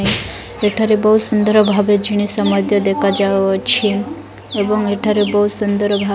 ଏଠାରେ ବହୁତ ସୁନ୍ଦର ଭାବେ ଜିନିଷ ମଧ୍ୟ୍ୟ ଦେଖାଯାଉଅଛି ଏବଂ ଏଠାରେ ବହୁତ ସୁନ୍ଦର ଭା --